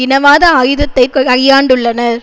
இனவாத ஆயுதத்தை கையாண்டுள்ளனர்